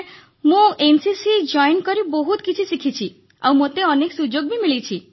sir ମୁଁ NCC join କରି ବହୁତ କିଛି ଶିଖିଛି ଆଉ ମୋତେ ଅନେକ ସୁଯୋଗ ବି ମିଳିଛି